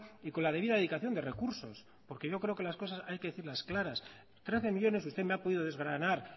y con la debida dedicación de recursos porque yo creo que las cosas hay que decirlas claras trece millónes usted me ha podido desgranar